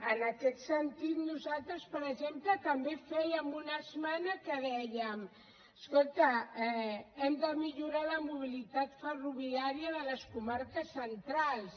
en aquest sentit nosaltres per exemple també fèiem una esmena en què dèiem escolta hem de millorar la mobilitat ferroviària de les comarques centrals